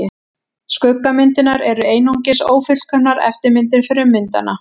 Skuggamyndirnar eru einungis ófullkomnar eftirmyndir frummyndanna.